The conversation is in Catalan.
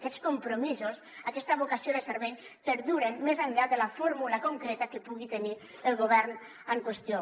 aquests compromisos aquesta vocació de servei perduren més enllà de la fórmula concreta que pugui tenir el govern en qüestió